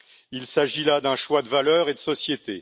Il s'agit là d'un choix de valeurs et de société.